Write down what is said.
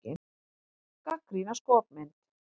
Gagnrýna skopmynd